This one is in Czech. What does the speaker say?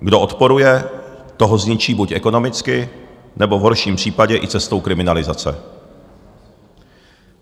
Kdo odporuje, toho zničí buď ekonomicky, nebo v horším případě i cestou kriminalizace.